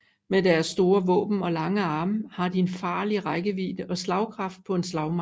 Med deres store våben og lange arme har de en farlig rækkevidde og slagkraft på en slagmark